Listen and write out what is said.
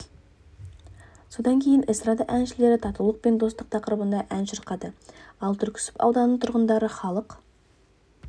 содан кейін эстрада әншілері татулық пен достық тақырыбында ән шырқады ал түрксіб ауданының тұрғындары халық